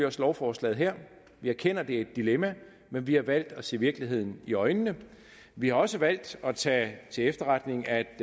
også lovforslaget her vi erkender at det er et dilemma men vi har valgt at se virkeligheden i øjnene vi har også valgt at tage til efterretning at